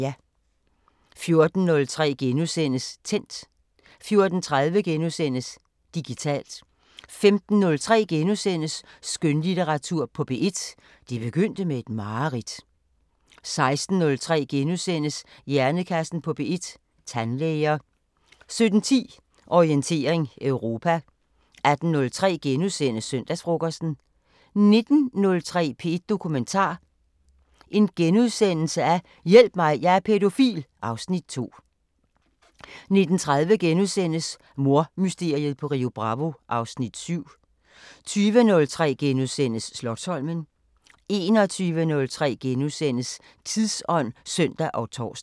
14:03: Tændt * 14:30: Digitalt * 15:03: Skønlitteratur på P1: Det begyndte med et mareridt * 16:03: Hjernekassen på P1: Tandlæger * 17:10: Orientering Europa 18:03: Søndagsfrokosten * 19:03: P1 Dokumentar: Hjælp mig, jeg er pædofil (Afs. 2)* 19:30: Mordmysteriet på Rio Bravo (Afs. 7)* 20:03: Slotsholmen * 21:03: Tidsånd *(søn og tor)